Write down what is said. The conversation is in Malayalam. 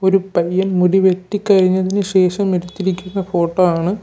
ഒരു പയ്യൻ മുടി വെട്ടി കഴിഞ്ഞതിന് ശേഷം എടുത്തിരിക്കുന്ന ഫോട്ടോ ആണ്.